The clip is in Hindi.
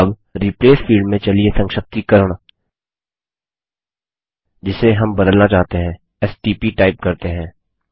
अब रिप्लेस फील्ड में चलिए संक्षिप्तीकरण जिसे हम बदलना चाहते हैं एसटीपी टाइप करते हैं